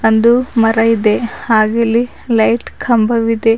ಒಂದು ಮರ ಇದೆ ಹಾಗಿಲಿ ಲೈಟ್ ಕಂಬವಿದೆ.